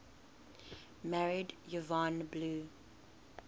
married yvonne blue